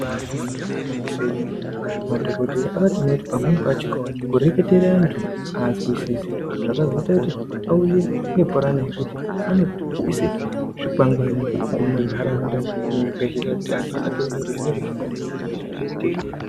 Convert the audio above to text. Ibari gwinyiso yemene madhokodheya akatoone kuti kureketere antu pamweni pacho azwisisi zvakazoita kuti auye nepurani yekuti anoise zvikwangwani muma ntaraunda nemuzvibhedhlera kuti antu atoone kuti zvinenga zvakadini kuti zviro zviite zvakanaka.